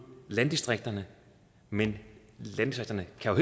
landdistrikterne men landdistrikterne kan